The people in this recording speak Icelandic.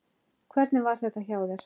Hvernig var þetta hjá þér?